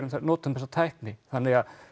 notum þessa tækni þannig að